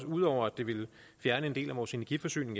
ud over at det ville fjerne en del af vores energiforsyning